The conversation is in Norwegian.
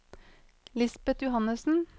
Lisbeth Johannesen